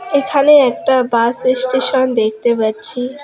এখানে একটা bus station দেখতে পাচ্ছি।